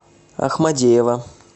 ахмадеева